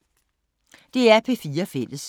DR P4 Fælles